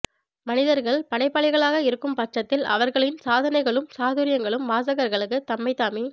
மனிதர்கள் படைப்பாளிகளாக இருக்கும் பட்சத்தில் அவர்களின் சாதனைகளும் சாதுரியங்களும் வாசகர்களுக்கு தம்மைத்தாமே